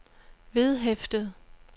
vedhæftet